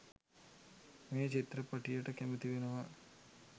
මේ චිත්‍රපටියට කැමති වෙනවා.